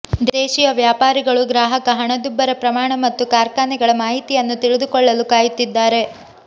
ದೇಶೀಯ ವ್ಯಾಪಾರಿಗಳು ಗ್ರಾಹಕ ಹಣದುಬ್ಬರ ಪ್ರಮಾಣ ಮತ್ತು ಕಾರ್ಖಾನೆಗಳ ಮಾಹಿತಿಯನ್ನು ತಿಳಿದುಕೊಳ್ಳಲು ಕಾಯುತ್ತಿದ್ದಾರೆ